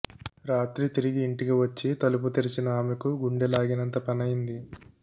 రాత్రి తిరిగి ఇంటికి వచ్చి తలుపు తెరిచిన ఆమెకు గుండెలాగినంత పనైంది